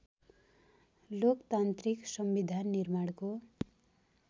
लोकतान्त्रिक संविधान निर्माणको